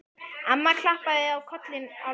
Amma klappaði á kollinn á Lalla.